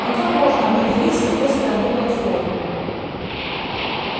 но как можно определить с какой стороны платформа